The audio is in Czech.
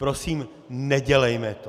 Prosím, nedělejme to!